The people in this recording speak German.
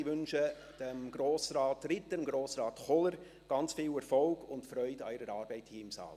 Ich wünsche Grossrat Ritter und Grossrat Kohler viel Erfolg und Freude bei ihrer Arbeit hier im Saal.